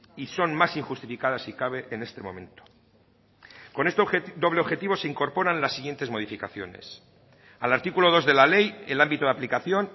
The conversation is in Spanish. y son más injustificadas si cabe en este momento con este doble objetivo se incorporan las siguientes modificaciones al artículo dos de la ley el ámbito de aplicación